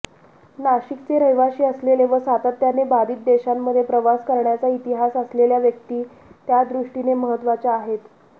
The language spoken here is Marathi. नाशिकचे रहिवाशी असलेले व सातत्याने बाधित देशांमध्ये प्रवास करण्याचा इतिहास असलेल्या व्यक्ती त्यादृष्टीने महत्त्वाच्या आहेत